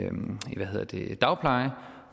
dagpleje